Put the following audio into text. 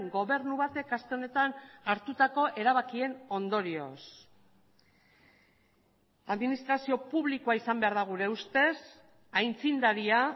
gobernu batek aste honetan hartutako erabakien ondorioz administrazio publikoa izan behar da gure ustez aitzindaria